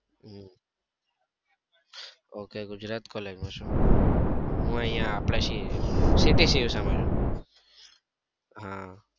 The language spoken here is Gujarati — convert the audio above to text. હમ ok ગુજરાત collage માં છો! હું અહીંયા અપડે city c u શાહ માં છું. હા